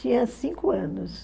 Tinha cinco anos.